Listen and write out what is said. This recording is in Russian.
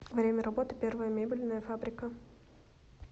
время работы первая мебельная фабрика